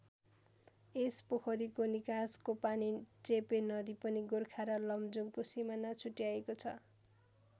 यस पोखरीको निकासको पानी चेपे नदी बनि गोर्खा र लमजुङको सिमाना छुट्याएको छ।